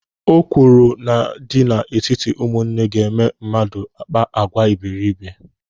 Okworo na-adị n'etiti ụmụnne ga-eme mmadụ akpa àgwà iberiibe.